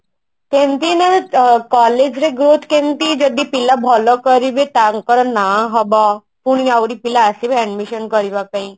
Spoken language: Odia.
ମାନେ collage ରେ growth କେମତି ଯଦି ପିଲା ଭଲ କରିବେ ତାଙ୍କର ନା ହବ ଯମତି ଆହୁରି ପିଲା ଆସିବେ admission କରିବା ପାଇଁ